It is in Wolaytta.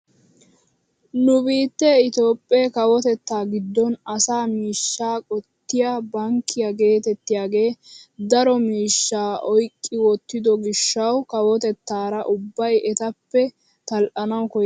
Nu biittee itoophphee kawotettaa giddon asaa mishshaa qottiyaa bankkiyaa getettiyaagee daro miishshaa oyqqi wottido giishshawu kawotettaara ubbay etappe tal"anawu koyyees!